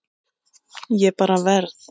Ég bara verð.